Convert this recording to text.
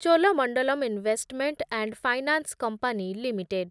Cholamandalam investment and finance company limited